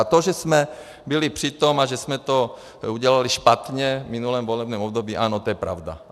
A to, že jsme byli při tom a že jsme to udělali špatně v minulém volebním období, ano, to je pravda.